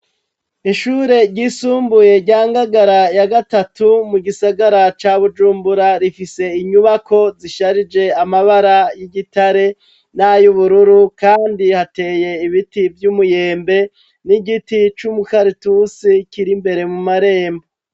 Ishure ryisumbuye rya Ngagara ya gatatu mu gisagara ca Bujumbura rifise inyubako zisharije amabara y'igitare n'ay'ubururu kandi hateye ibiti vy'umuyembe n'igiti c'umukaratusi kiri mbere mu marembo.